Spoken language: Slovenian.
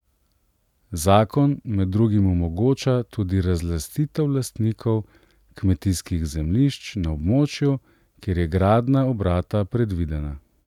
Zakon med drugim omogoča tudi razlastitev lastnikov kmetijskih zemljišč na območju, kjer je gradnja obrata predvidena.